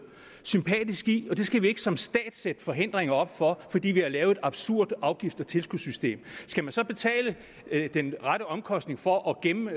sympatisk i det og det skal vi ikke som stat sætte forhindringer op for fordi vi har lavet et absurd afgifts og tilskudssystem skal man så betale den rette omkostning for at gemme